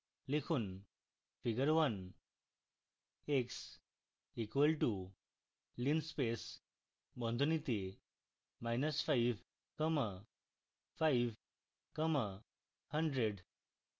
লিখুন: figure 1